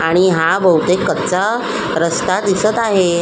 आणि हा बहुतेक कच्चा रस्ता दिसत आहे.